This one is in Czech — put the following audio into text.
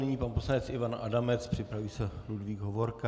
Nyní pan poslanec Ivan Adamec, připraví se Ludvík Hovorka.